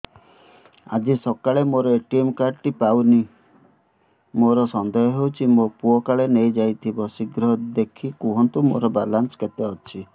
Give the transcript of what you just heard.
ଆଜି ସକାଳେ ମୋର ଏ.ଟି.ଏମ୍ କାର୍ଡ ଟି ପାଉନି ମୋର ସନ୍ଦେହ ହଉଚି ମୋ ପୁଅ କାଳେ ନେଇଯାଇଥିବ ଶୀଘ୍ର ଦେଖି କୁହନ୍ତୁ ମୋର ବାଲାନ୍ସ କେତେ ଅଛି